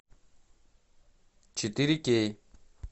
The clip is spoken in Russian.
четыре кей